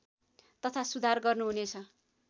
तथा सुधार गर्नुहुनेछ